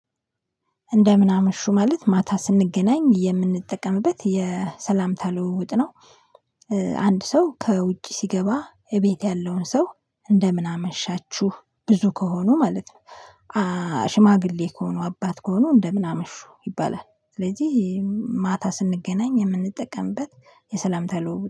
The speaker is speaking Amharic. እንደምን አመሹ ማለት ማታ ስንገናኝ የምንጠቀምበት የሰላምታ ልውውጥ ነው። አንድ ሰው ከውጭ ሲገባ እቤት ያለውን ሰው እንደምን አመሻችሁ ብዙ ከሆኑ ማለት ነው። ሽማግሌ ከሆኑ አባት ከሆኑ እንደምን አምሹ ይባላል ስለዚህ ማታ ስንገናኝ የምንጠቀምበት የሰላምታ ልውውጥ